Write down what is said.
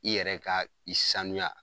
I yɛrɛ ka i sanuya